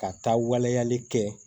Ka taa waleyali kɛ